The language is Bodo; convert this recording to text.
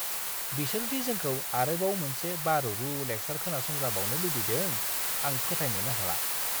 बिसोर दि जोंखौ आरोबाव मोनसे बारुरु लेक्सार खोनासंजाबावनो लुबैदों आं फोथायनोनो हाला!